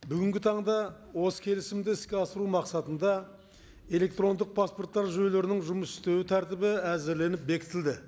бүгінгі таңда осы келісімді іске асыру мақсатында электрондық паспорттар жүйелерінің жұмыс істеу тәртібі әзірленіп бекітілді